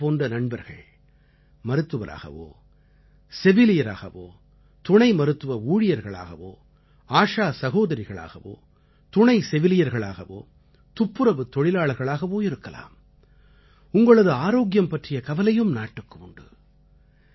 உங்களைப் போன்ற நண்பர்கள் மருத்துவராகவோ செவிலியராகவோ துணை மருத்துவ ஊழியர்களாகவோ ஆஷா சகோதரிகளாகவோ துணை செவிலியர்களாகவோ துப்புறவுத் தொழிலாளர்களாகவோ இருக்கலாம் உங்களது ஆரோக்கியம் பற்றிய கவலையும் நாட்டுக்கு உண்டு